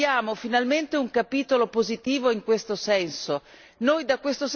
Credo che oggi scriviamo finalmente un capitolo positivo in questo senso.